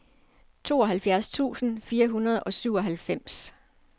tooghalvfjerds tusind fire hundrede og syvoghalvfems